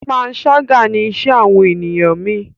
panṣaga ní iṣé àwọn ènìyàn mí.